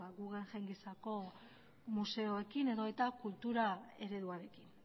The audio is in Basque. guggenheim gisako museoekin edota kultura ereduarekin